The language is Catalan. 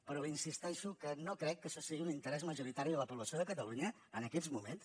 però li insisteixo que no crec que això sigui un interès majoritari de la població de catalunya en aquests moments